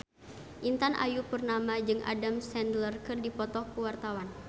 Intan Ayu Purnama jeung Adam Sandler keur dipoto ku wartawan